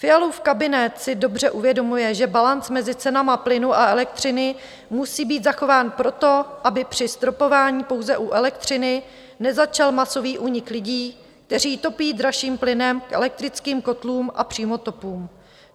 Fialův kabinet si dobře uvědomuje, že balanc mezi cenami plynu a elektřiny musí být zachován proto, aby při stropování pouze u elektřiny nezačal masový únik lidí, kteří topí dražším plynem, k elektrickým kotlům a přímotopům.